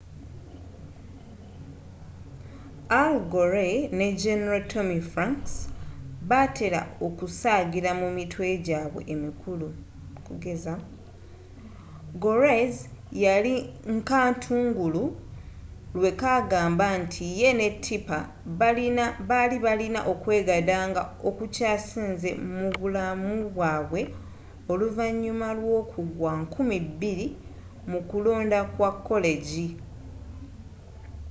al gore ne general tommy franks batela okusagira mu mitwe jaabwe emikulu gore's yali nkatungulu lwekagamba nti ye ne tipper bali balina okwegadandga okukyasinze mu bulamubwaabwe oluvanyuma lw’okugwa 2000 mukulonda kwa koleggi